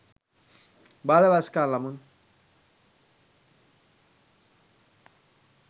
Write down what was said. බාල වයස්කාර ළමුන්.